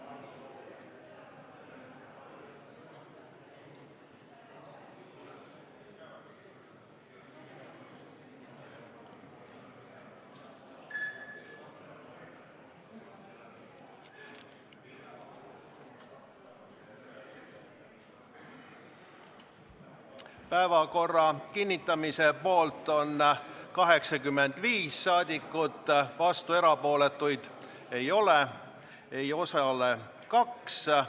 Hääletustulemused Päevakorra kinnitamise poolt on 85 rahvasaadikut, vastuolijaid ega erapooletuid ei ole, ei osalenud kaks inimest.